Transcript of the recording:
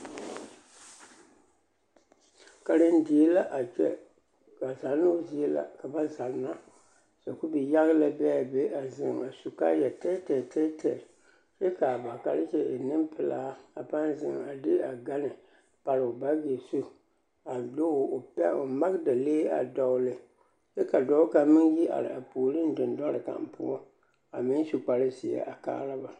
Karendie la a kyɛ, ka zannoo zie la ka ba zanna, sakubi-yaga la be a be a zeŋ a su kaaya tɛɛtɛɛ tɛɛtɛɛ kyɛ k'a ba karekye e nempelaa a pãã zeŋ a de a gane pare o baagi zu a de o magedalee a dɔgele kyɛ ka dɔɔ kaŋ meŋ yi are a puoriŋ dendɔre kaŋ poɔ a meŋ su kpare zeɛ a kaara ba.